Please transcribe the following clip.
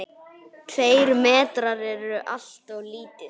Tveir metrar eru alltof lítið.